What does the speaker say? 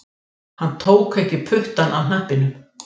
Hann tók ekki puttann af hnappinum